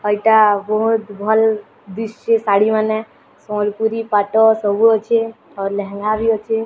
ଏଇଟା ବହୁତ ଭଲ୍ ଦିସୁଛେ ଶାଢ଼ୀ ମାନେ ସମ୍ବଲପୁରୀ ପାଟ ସବୁ ଅଛେ ଆଉ ଲେହେଙ୍ଗା ବି ଅଛେ।